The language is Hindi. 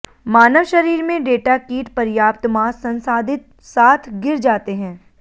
मानव शरीर में डेटा कीट पर्याप्त मांस संसाधित साथ गिर जाते हैं